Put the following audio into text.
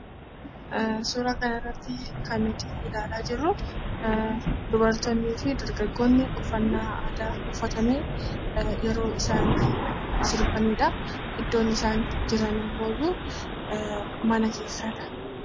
Suura kana irratti kan nuti ilaalaa jirru dargaggoonnii fi dubartoonni uffannaa aadaa uffatanii yeroo isaan sirbanidhaa. Iddoon isaan jiranimmooyyuu mana keessadha.